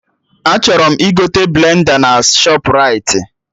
Achọrọ m igote blenda na Shọpraịti